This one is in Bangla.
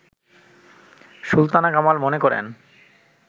সুলতানা কামাল মনে করেন